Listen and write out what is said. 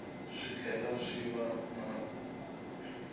swi tlhela swi va na